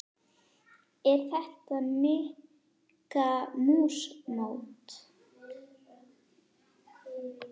Er þetta Mikka mús mót?